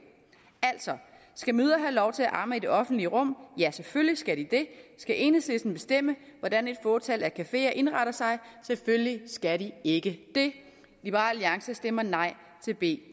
altså skal mødre have lov til at amme i det offentlige rum selvfølgelig skal de det skal enhedslisten bestemme hvordan et fåtal af cafeer indretter sig selvfølgelig skal de ikke det liberal alliance stemmer nej til b